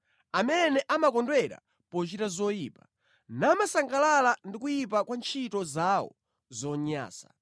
amene amakondwera pochita zoyipa namasangalala ndi kuyipa kwa ntchito zawo zonyansa.